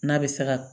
N'a bɛ se ka